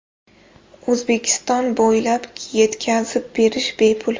O‘zbekiston bo‘ylab yetkazib berish bepul!